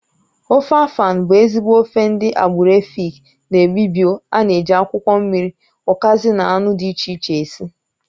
Ofe afàn bụ ezigbo ofe ndị agbụrụ Èfik na Ị́bịbio ana-eji akwụkwọ mmiri, ukazi na anụ dị iche iche esi